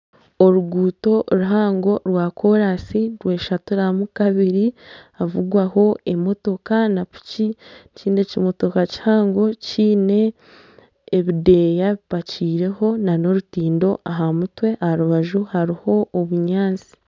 Oruguuto ruhango rwa kooransi nirweshaturamu kabiri nihavugwamu koraansi na piki ekindi ekimotoka kihango kiine ebideeya bipakiireho nana orutindo aha mutwe aha rúbaju hariho obunyaatsi